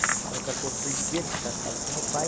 Era um cachorro perdigueiro que caçava com meu pai.